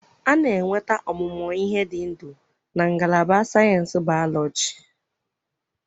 A na-enweta ọmụmụ ihe ndị dị ndụ na ngalaba sayensị Bayọlọjị